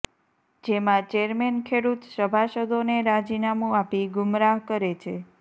જેમાં ચેરમેન ખેડૂત સભાસદોને રાજીનામુ આપી ગુમરાહ કરે છે